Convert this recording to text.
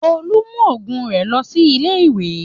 Tolú mú òògùn rẹ lọ sílé ìwé.